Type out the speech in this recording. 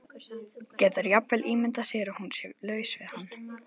Getur jafnvel ímyndað sér að hún sé laus við hann.